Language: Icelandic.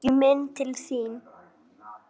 Kíkjum inn til þín